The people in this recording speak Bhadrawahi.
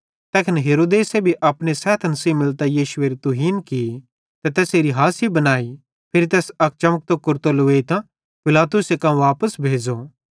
तैखन हेरोदेस भी अपने सैथन सेइं मिलतां यीशुएरी तुहीन की ते तैसेरी हासी बनाई फिरी तैस अक चमकतो कुरतो लुवेइतां पिलातुसे कां वापस भेज़ो